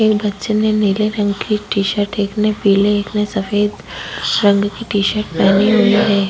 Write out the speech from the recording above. एक बच्चे ने नीले रंग की टी शर्ट एक ने पीले एक ने सफेद रंग की टी शर्ट पहनी हुई है।